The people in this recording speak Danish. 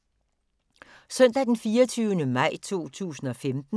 Søndag d. 24. maj 2015